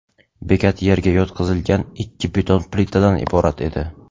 Bekat yerga yotqizilgan ikki beton plitadan iborat edi.